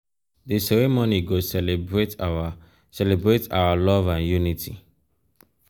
di ceremony go celebrate our celebrate our love and unity.